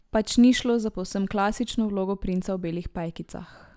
Pač ni šlo za povsem klasično vlogo princa v belih pajkicah.